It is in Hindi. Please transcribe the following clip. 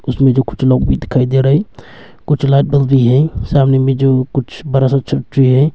इसमें कुछ लोग भी दिखाई दे रहे हैं कुछ लाइट बल्ब भी हैं सामने में जो कुछ बड़ा सा छतरी है।